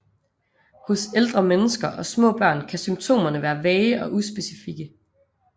Hos ældre mennesker og små børn kan symptomerne være vage og uspecifikke